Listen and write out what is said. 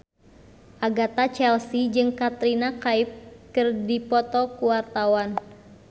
Agatha Chelsea jeung Katrina Kaif keur dipoto ku wartawan